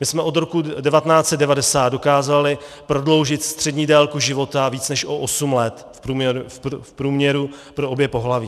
My jsme od roku 1990 dokázali prodloužit střední délku života o více než osm let v průměru pro obě pohlaví.